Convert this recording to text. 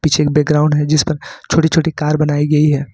पीछे एक बैकग्राउंड है जिस पर छोटी छोटी कार बनाई गई है।